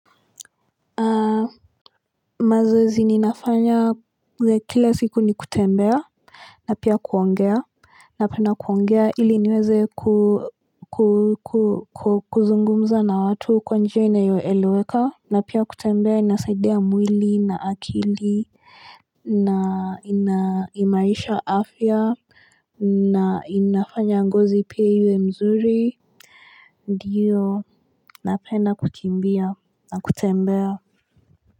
Mazoezi ninafanya ya kila siku ni kutembea na pia kuongea Napenda kuongea ili niweze kuzungumza na watu kwa njia inayoeleweka na pia kutembea inasaidia mwili na akili na inaimarisha afya na inafanya ngozi pia iwe mzuri Ndiyo napenda kukimbia na kutembea.